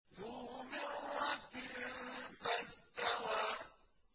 ذُو مِرَّةٍ فَاسْتَوَىٰ